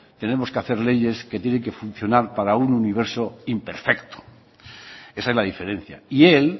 tenemos que hacer leyes que tienen que funcionar para un universo imperfecto esa es la diferencia y él